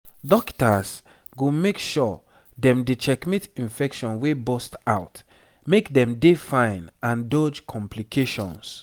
dokita's go make sure dem dey checkmate infection wey burst out make dem dey fine and dodge complications